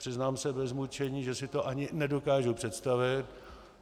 Přiznám se bez mučení, že si to ani nedokážu představit.